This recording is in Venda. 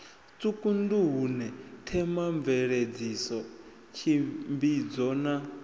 tsiku nduhune themamveledziso tshimbidzo na